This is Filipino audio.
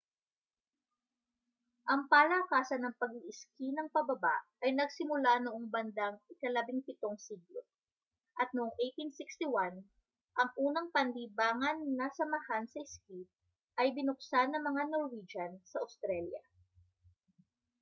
ang palakasan na pag-iiski nang pababa ay nagsimula noong bandang ika-17 siglo at noong 1861ang unang panlibangan na samahan sa ski ay binuksan ng mga norwegian sa australia